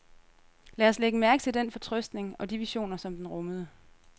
Lad os lægge mærke til den fortrøstning og de visioner, som den rummede.